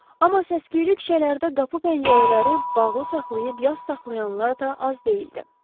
Amma səs-küyü küçələrdə qapı-pəncərələri bağlı saxlayıb yaz saxlayanlar da az deyildi.